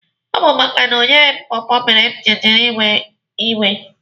Ọ bụ maka na o nyeghị m pọọpọọ mere m jiri wee iwe.